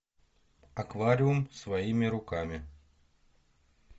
аквариум своими руками